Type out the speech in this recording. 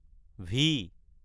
V